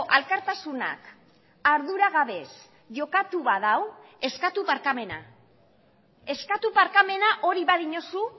alkartasunak arduragabez jokatu badu eskatu barkamena eskatu barkamena hori badiozu